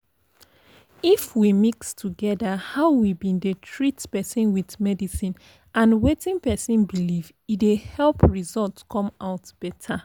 if we mix togeda how we bin dey treat person with medicin and wetin person believe e dey help result come out better.